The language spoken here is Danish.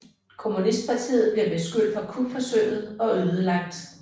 Kommunistpartiet blev beskyldt for kupforsøget og ødelagt